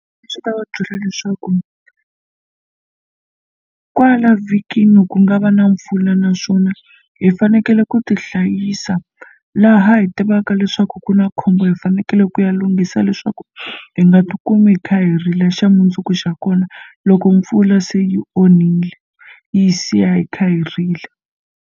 Swi ta va byela leswaku kwala vhikini ku nga va na mpfula naswona hi fanekele ku ti hlayisa laha hi tivaka leswaku ku na khombo hi fanekele ku ya lunghisa leswaku hi nga ti kumi hi kha hi rila xa mundzuku xa kona loko mpfula se yi onhile yi siya hi kha hi rila.